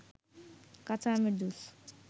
কাচা আমের জুস